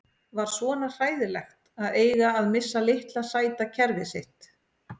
Var svona hræðilegt að eiga að missa litla sæta kerfið sitt?